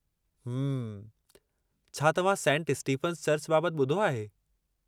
हम्म.. छा तव्हां saint Stephen's church बाबति ॿुधो आहे?